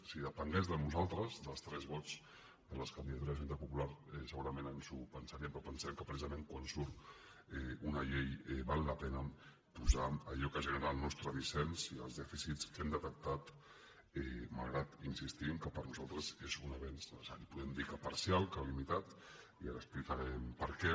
si depengués de nosaltres dels tres vots de la candidatura d’unitat popular segurament ens ho pensaríem però pensem que precisament quan surt una llei val la pena posar allò que genera el nostre dissens i els dèficits que hem detectat malgrat hi insistim que per nosaltres és un avenç necessari podem dir que parcial que limitat i ara explicarem per què